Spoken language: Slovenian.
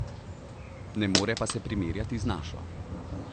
Ne more pa se primerjati z našo.